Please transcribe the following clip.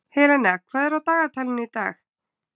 Helena, hvað er á dagatalinu í dag?